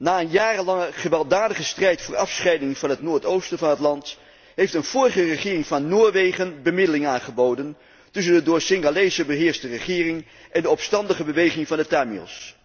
Na een jarenlange gewelddadige strijd voor afscheiding van het noordoosten van het land, heeft een vorige regering van Noorwegen bemiddeling aangeboden tussen de door Singalezen beheerste regering en de opstandige beweging van de Tamils.